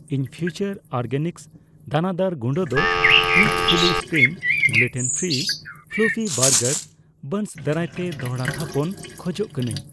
ᱤᱧ Future Organics ᱫᱟᱱᱟᱫᱟᱨ ᱜᱩᱰᱟᱹ ᱫᱚ ᱢᱤᱛ ᱛᱷᱩᱞᱤ spring gluten free fluffy burger buns ᱫᱟᱨᱟᱭᱛᱮ ᱫᱚᱲᱦᱟ ᱛᱷᱟᱯᱚᱱ ᱠᱷᱚᱡᱚᱜ ᱠᱟᱱᱟᱧ ᱾